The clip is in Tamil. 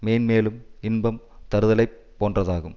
மேன்மேலும் இன்பம் தருதலைப் போன்றதாகும்